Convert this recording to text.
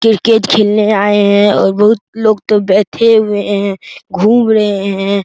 Cricket खेलने आए हैं और बहुत लोग तो बैठे हुए हैं घूम रहे हैं।